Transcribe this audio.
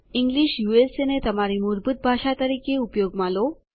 Englishને તમારી મૂળભૂત ભાષા તરીકે ઉપયોગમાં લો